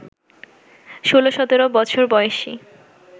ষোল সতেরো বছর বয়সী